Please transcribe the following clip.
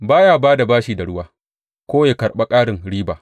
Ba ya ba da bashi da ruwa ko ya karɓa ƙarin riba.